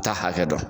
Taa hakɛ dɔn